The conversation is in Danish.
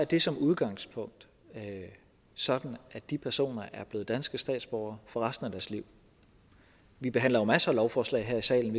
det som udgangspunkt sådan at de personer er blevet danske statsborgere for resten af deres liv vi behandler jo masser af lovforslag her i salen